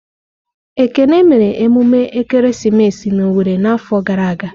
Ekene mere emume ekeresimesi na Owere n'afọ gara aga.